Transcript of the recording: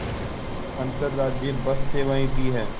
अंतर्राज्यीय बस सेवाएँ भी हैं